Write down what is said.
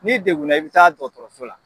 N'i degunna i bɛ taa dɔgɔtɔrɔso la.